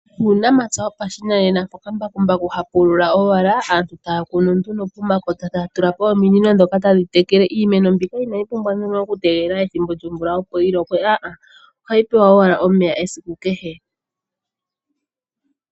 Uunamapya wopashinanena moka mbakumbaku ha pulula owala aantu taya kunu nduno pomakota taya tulapo ominino dhoka tadhi tekele. Iimeno mbika inayi pumbwa nduno oku tegelela ethimbo lyomvula opo yi lokwe, ohayi pewa owala omeya esiku kehe.